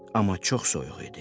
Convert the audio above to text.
Amma çox soyuq idi.